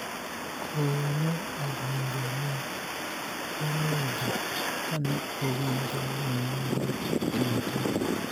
koyo ne odonjo ne maneja kane owinjo ni nonro idwa tim